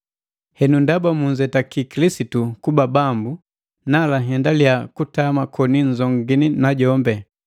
Henu ndaba munzetaki Kilisitu kuba Bambu, nala nhendaliya kutama koni nzongini najombi.